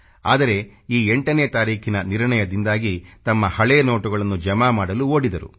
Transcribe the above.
ಆದರೆ ಈ 8ನೇ ತಾರೀಖಿನ ನಿರ್ಣಯದಿಂದಾಗಿ ತಮ್ಮ ಹಳೇ ನೋಟುಗಳನ್ನು ಜಮಾ ಮಾಡಲು ಓಡಿದರು